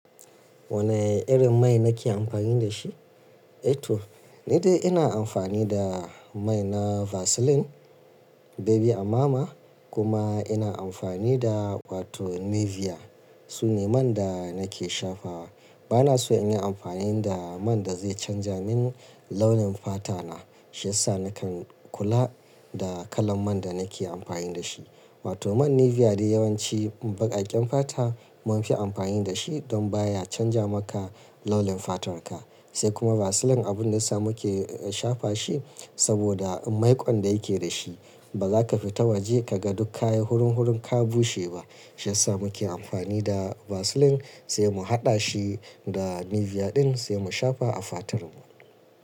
Wane irin mai nake amfani da shi? Eh to, ni dai ina amfani da mai na Vaseline Baby Amama kuma ina amfani da wato Nivea. Su ne man da nake shafa. Bana so in yi amfani da man da zai canza min launin fata na. Shi yasa nakan kula da kalan man da nake amfani da shi. Wato man Nivea dai yawanci baƙaƙen fata mun fi amfani da shi don baya canza maka launin fatarka. Sai kuma Vaseline abun da sa muke shafa shi saboda maiƙon da yake da shi. Ba za ka fita waje ka ga duk ka yi hurum-hurum ka bushe ba. Shi yasa muke amfani da Vaseline, sai mu haɗa shi da Nivea ɗin sai mu shafa a fatarmu.